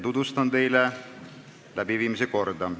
Tutvustan teile päevakorrapunkti arutamise korda.